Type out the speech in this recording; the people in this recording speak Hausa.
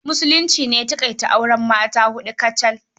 Musulunci ne ya taƙaita auren mata a huɗu kacal.